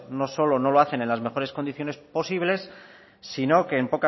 no solo no lo hacen en las mejores condiciones posibles sino que en